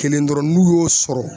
Kelen dɔrɔn n'u y'o sɔrɔ